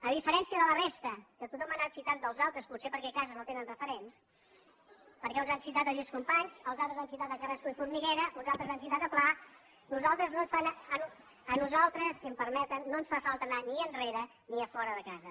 a diferència de la resta que tothom ha anat citant dels altres potser perquè a casa no tenen referents perquè uns han citat el lluís companys els altres han citat a carrasco i formiguera un altres han citat a pla a nosaltres si em permeten no ens fa falta anar ni enrere ni a fora de casa